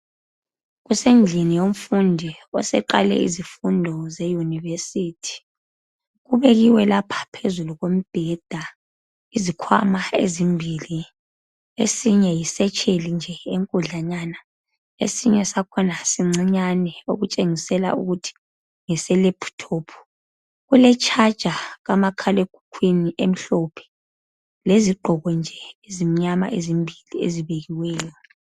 Kusendlini yomfundi oseqale izifundo zeyunivesithi. Kubekiwe lapha phezu kombheda izikhwama ezimbili esinye yisetsheli nje enkudlanyana esinye sakhona sincana okutshengisela ukuthi ngeselaptop. Kuletshaja kamakhalekhukhukhwini emhlophe, lezigqoko nje ezimnyama ezimbili ezibekiweyo.